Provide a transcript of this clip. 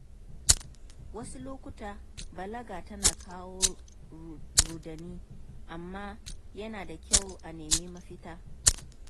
Wasu lokuta balaga tana kawo rudani, amma yana da kyau a nemi mafita.